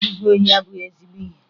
Izu ohi abụghị ezigbo ihe